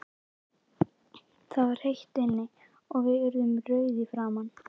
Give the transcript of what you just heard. Það var heitt inni, og við urðum rauðir í framan.